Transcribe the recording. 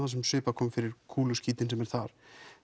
fyrir kúluskítinn sem er þar